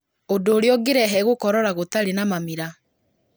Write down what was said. ũndũ ũrĩa ũngĩrehe gũkorora gũtarĩ na mamira